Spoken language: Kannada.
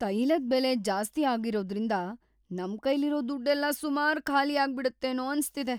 ತೈಲದ್ ಬೆಲೆ ಜಾಸ್ತಿ ಆಗಿರೋದ್ರಿಂದ ನಮ್ಕೈಲಿರೋ ದುಡ್ಡೆಲ್ಲ ಸುಮಾರ್ ಖಾಲಿಯಾಗ್ಬಿಡತ್ತೇನೋ ಅನ್ಸ್ತಿದೆ.